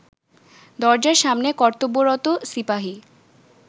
দরজার সামনে কর্তব্যরত সিপাহি